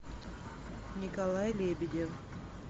николай лебедев